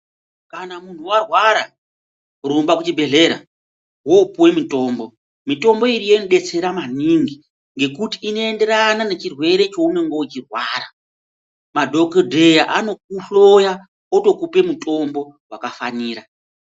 Kana munhu warwara rumble kuchibhedhlera wopuwe mitombo, mitombo iriyo inodetsera maningi ngekuti inoenderana nechirwere chaunenge uchirwara. Madhokodheya anokuhloya otokupe mutombo wakafanira.